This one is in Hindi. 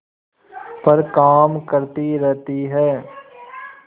पर काम करती रहती है